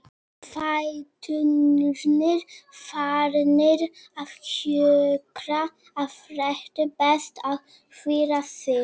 Fæturnir farnir að kjökra af þreytu, best að hvíla sig.